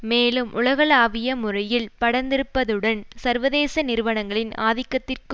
மேலும் உலகளாவிய முறையில் பரந்திருப்பதுடன் சர்வதேச நிறுவனங்களின் ஆதிக்கத்திற்கு